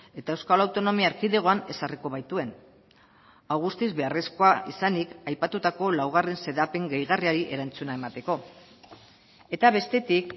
eta euskal autonomia erkidegoan ezarriko baituen hau guztiz beharrezkoa izanik aipatutako laugarren xedapen gehigarriari erantzuna emateko eta bestetik